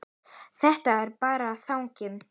Þetta er bara þannig.